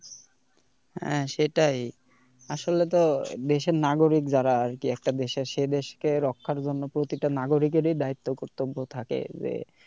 হ্যাঁ সেটাই আসলে তো দেশের নাগরিক যারা আর কি একটা দেশের সে দেশকে রক্ষার জন্য প্রতিটা নাগরিকেরই দায়িত্ব কর্তব্য থাকে যে,